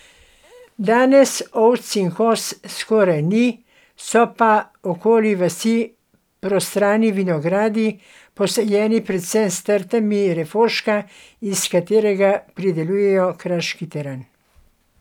Danes ovc in koz skoraj ni, so pa okoli vasi prostrani vinogradi, posajeni predvsem s trtami refoška, iz katerega pridelujejo kraški teran.